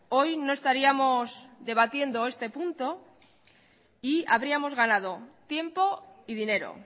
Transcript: hoy no estaríamos debatiendo este punto y habríamos ganado tiempo y dinero